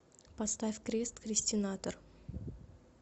поставь крест крестинатор